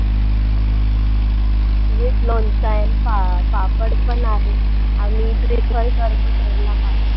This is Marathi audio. With लोणचं and पा पापड पण आहे, आम्ही prefer करतो केरला